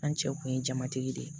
An cɛw kun ye jamatigi de ye